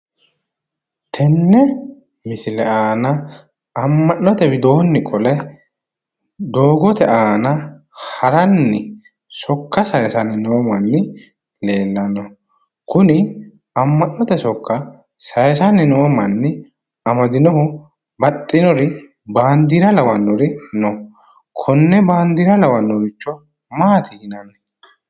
Tenne misile aana amma'note widoonni qole doogote aana haranni sokka sayisanni noo manni leellanno. Kuni amma'note sokka sayisanni noo manni amadinohu baxxinori baandeera lawannori no. Konne baandeera lawannoricho maati yinanni?